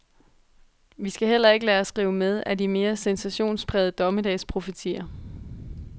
Vi skal heller ikke lade os rive med af de mere sensationsprægede dommedagsprofetier.